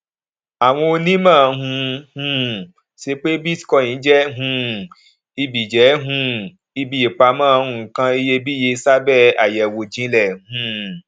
àwọn onímọ ń um ṣe pé bitcoin jẹ um ibi jẹ um ibi ìpamọ nǹkan iyebíye sábẹ àyẹwò jinlẹ um